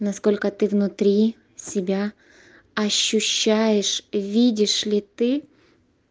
насколько ты внутри себя ощущаешь видишь ли ты